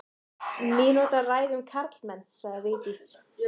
Mínútu ræða um karlmenn, sagði Vigdís.